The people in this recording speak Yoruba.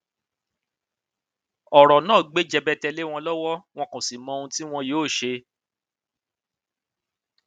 ọrọ náà gbé jẹbẹtẹ lé wọn lọwọ wọn kó sì mọ ohun tí wọn yóò ṣe